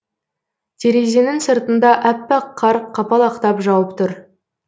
терезенің сыртында әппақ қар қапалақтап жауып тұр